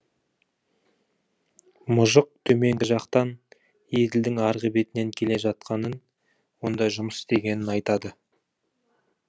мұжық төменгі жақтан еділдің арғы бетінен келе жатқанын онда жұмыс істегенін айтады